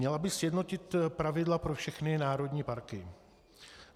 Měla by sjednotit pravidla pro všechny národní parky.